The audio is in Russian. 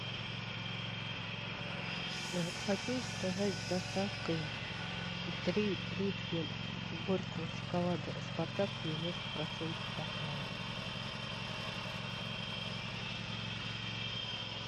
хочу заказать с доставкой три плитки горького шоколада спартак девяносто процентов какао